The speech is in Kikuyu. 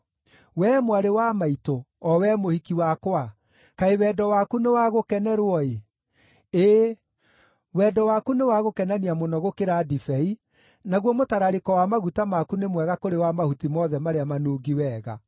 Wee mwarĩ wa maitũ, o we mũhiki wakwa, kaĩ wendo waku nĩ wa gũkenerwo-ĩ! Ĩĩ wendo waku nĩ wa gũkenania mũno gũkĩra ndibei, naguo mũtararĩko wa maguta maku nĩ mwega kũrĩ wa mahuti mothe marĩa manungi wega!